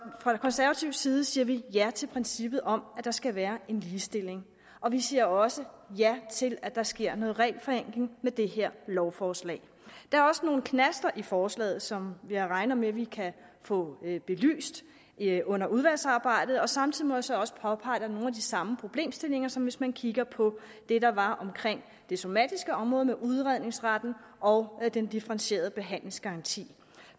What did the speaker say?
fra konservativ side siger vi ja til princippet om at der skal være en ligestilling og vi siger også ja til at der sker noget regelforenkling med det her lovforslag der er også nogle knaster i forslaget som jeg regner med vi kan få belyst under udvalgsarbejdet samtidig må jeg så også påpege at der er nogle af de samme problemstillinger som hvis man kigger på det der var omkring det somatiske område med udredningsretten og den differentierede behandlingsgaranti